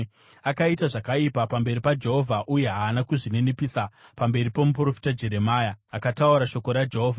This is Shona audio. Akaita zvakaipa pamberi paJehovha uye haana kuzvininipisa pamberi pomuprofita Jeremia, akataura shoko raJehovha.